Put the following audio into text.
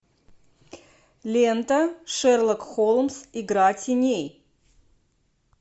лента шерлок холмс игра теней